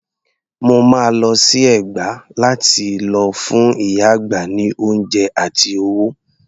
Mo máa lọ sí Ẹ̀gbá lá ti lọ fún ìyá àgbà ní oúnjẹ àti owó.